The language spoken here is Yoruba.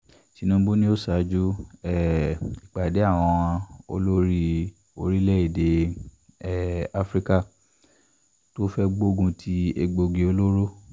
tinubu ni yóò ṣáájú um ìpàdé àwọn olórí orílẹ̀-èdè um afrika tó fẹ́ẹ́ gbógun ti egbòogi olóró